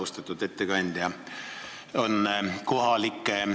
Austatud ettekandja!